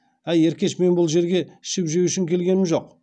әй еркеш мен бұл жерге ішіп жеу үшін келгенім жоқ